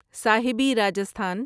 صاحبی Rajasthan